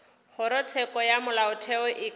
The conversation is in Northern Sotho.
kgorotsheko ya molaotheo e ka